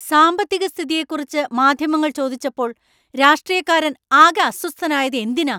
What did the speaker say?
സാമ്പത്തികസ്ഥിതിയെക്കുറിച്ച് മാധ്യമങ്ങൾ ചോദിച്ചപ്പോൾ രാഷ്ട്രീയക്കാരൻ ആകെ അസ്വസ്ഥനായത് എന്തിനാ?